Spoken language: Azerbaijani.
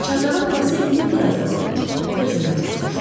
Çardağın havası indi biraz da boğucu və dözülməz olmuşdu.